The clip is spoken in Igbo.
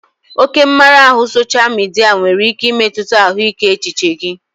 Oke mmara ahụ sosha midia nwere ike imetụta ahụike echiche gị